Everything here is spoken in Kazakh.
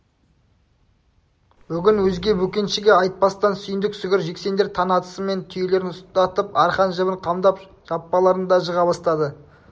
бүгін өзге бөкеншіге айтпастан сүйіндік сүгір жексендер таң атысымен түйелерін ұстатып арқан-жібін қамдап жаппаларын да жыға бастады